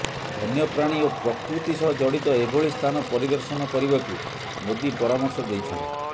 ବନ୍ୟପ୍ରାଣୀ ଓ ପ୍ରକୃତି ସହ ଜଡିତ ଏଭଳି ସ୍ଥାନ ପରିଦର୍ଶନ କରିବାକୁ ମୋଦି ପରାମର୍ଶ ଦେଇଛନ୍ତି